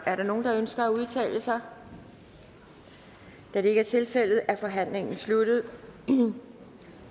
er der nogen der ønsker at udtale sig da der ikke er tilfældet er forhandlingen sluttet